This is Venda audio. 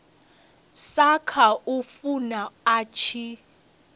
sa khou funa a tshi